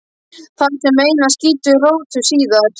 Þar sem meinið skýtur rótum síðar.